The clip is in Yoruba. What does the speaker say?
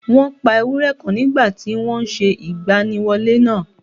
Wọ́n pa ewúrẹ́ kan nígbà tí wọ́n n se ìgbaniwọlé nàà